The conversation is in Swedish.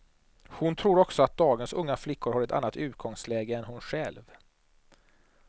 Hon tror också att dagens unga flickor har ett annat utgångsläge än hon själv.